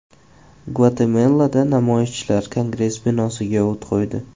Gvatemalada namoyishchilar Kongress binosiga o‘t qo‘ydi.